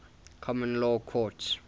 common law courts